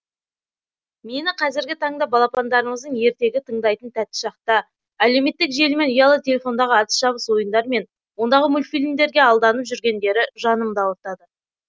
мені қазіргі таңда балапандарымыздың ертегі тыңдайтын тәтті шақта әлеуметтік желі мен ұялы телефондағы атыс шабыс ойындар мен ондағы мультфильмдерге алданып жүргендері жанымды ауыртады